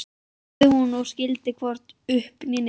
sagði hún og skildi hvorki upp né niður.